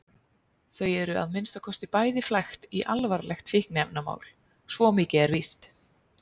Þau eru að minnsta kosti bæði flækt í alvarlegt fíkniefnamál, svo mikið er víst.